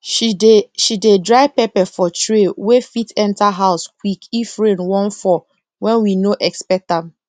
she dey she dey dry pepper for tray wey fit enter house quick if rain wan fall wen we no expect am